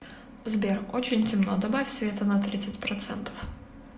сбер очень темно добавь света на тридцать процентов